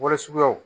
Warisuguyaw